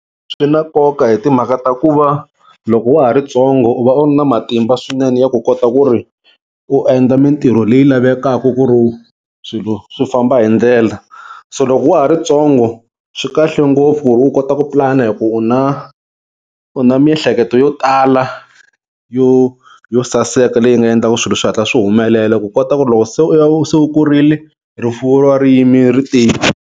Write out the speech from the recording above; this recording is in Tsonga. Swi na nkoka hi timhaka ta ku va loko wa ha ri ntsongo u va u ri na matimba swinene ya ku kota ku ri u endla mintirho leyi lavekaka ku ri swilo swi famba hi ndlela se loko wa ha ri ntsongo swi kahle ngopfu u kota ku pulana hi ku u na u na miehleketo yo tala yo yo saseka leyi nga endlaka swilo swi hatla swi humelela ku kota ku ri loko se u va se u kurile rifuwo ri va ri yimile ri tiyile.